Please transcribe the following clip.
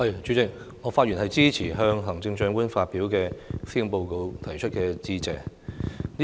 主席，我發言支持就行政長官發表的施政報告提出致謝議案。